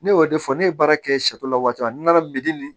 Ne y'o de fɔ ne ye baara kɛ la waati nana nin